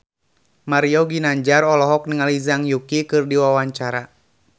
Mario Ginanjar olohok ningali Zhang Yuqi keur diwawancara